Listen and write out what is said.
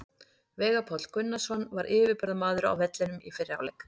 Veigar Páll Gunnarsson var yfirburðamaður á vellinum í fyrri hálfleik.